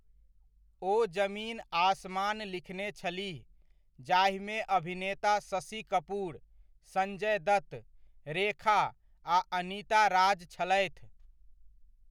ओ ज़मीन आसमान लिखने छलीह, जाहिमे अभिनेता शशि कपूर, संजय दत्त, रेखा, आ अनिता राज छलथि।